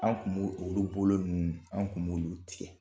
An' kun b'o olu bolo ninnu, anw kun b'olu tigɛ.